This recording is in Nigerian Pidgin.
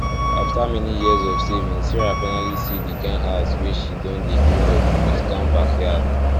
after many years of saving sarah finally see di kind house wey she don dey dream of wit calm backyard